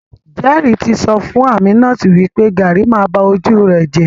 Jerry ti sọ fún Aminat wipe garri ma ba ojú rẹ jẹ.